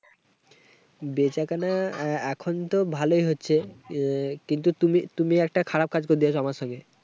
বেচাকেনা আহ এখন তো ভালোই হচ্ছে। আহ কিন্তু তুমি তুমি একটা খারাপ করে দিয়েছো আমার সঙ্গে।